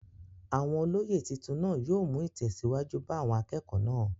Àwọn olóyè titun naa yóò mú ìtẹ̀síwájú bá àwọn akẹ́kọ̀ọ́ náà.